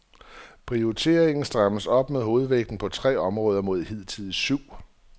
Prioriteringen strammes op med hovedvægten på tre områder mod hidtil syv.